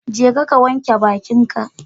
Jeka ka wanke bakinka.